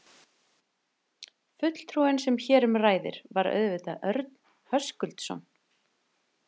Fulltrúinn sem hér um ræðir, var auðvitað Örn Höskuldsson.